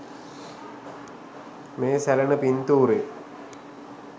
මේ සැලෙන පින්තූරේ